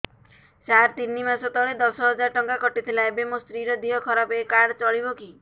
ସାର ତିନି ମାସ ତଳେ ଦଶ ହଜାର ଟଙ୍କା କଟି ଥିଲା ଏବେ ମୋ ସ୍ତ୍ରୀ ର ଦିହ ଖରାପ ଏ କାର୍ଡ ଚଳିବକି